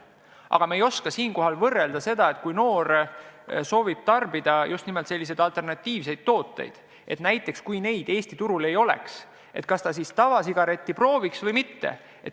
Aga me ei oska hinnata seda, et kui noor soovib tarbida just nimelt selliseid alternatiivseid tooteid ja kui neid Eesti turul ei oleks, kas ta siis prooviks tavasigaretti või mitte.